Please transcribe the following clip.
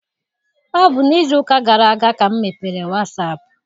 Ọ bụ n'izu ụka gara aga ka m mepere wasaapụ m.